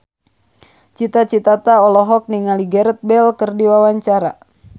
Cita Citata olohok ningali Gareth Bale keur diwawancara